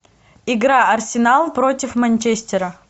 игра арсенал против манчестера